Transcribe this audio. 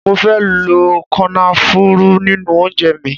Mo fe lo kònáfùrù ninu ounje mi